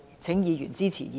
請議員支持議案。